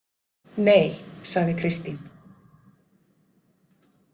Nei, sagði Kristín.